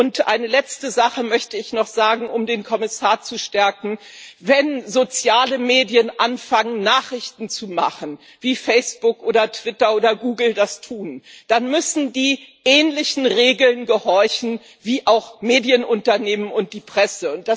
Und eine letzte Sache möchte ich noch sagen, um den Kommissar zu stärken Wenn soziale Medien anfangen, Nachrichten zu machen, wie Facebook oder Twitter oder Google das tun, dann müssen sie ähnlichen Regeln gehorchen wie auch Medienunternehmen und die Presse.